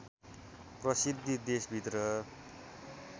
प्रसिद्धि देशभित्र